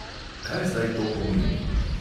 Kaj zdaj to pomeni?